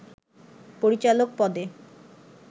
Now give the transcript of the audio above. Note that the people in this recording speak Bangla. পরিচালক পদে